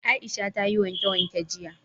Aisha ta yi wanke-wanke jiya